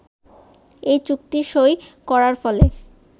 এই চুক্তি সই করার ফলে